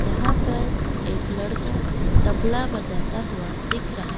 यहां पर एक लड़का तबला बजाता हुआ दिख रहा--